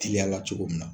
Teliyala cogo min na